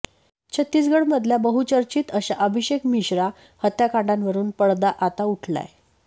छत्तीसगडमधल्या बहुचर्चित अशा अभिषेक मिश्रा हत्याकांडावरून पडदा आता उठलाय